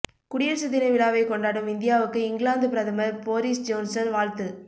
குடியரசு தின விழாவை கொண்டாடும் இந்தியாவுக்கு இங்கிலாந்து பிரதமர் பொரிஸ் ஜோன்சன் வாழ்த்து